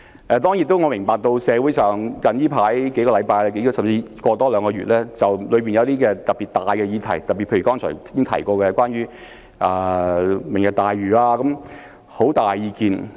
當然我亦明白社會在這數星期、甚至近兩個月，對一些特別重大的議題，例如剛才提過的"明日大嶼"計劃，有很大意見。